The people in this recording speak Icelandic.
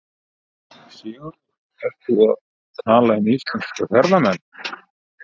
Sigurður: Ert þú þá að tala um íslenska ferðamenn?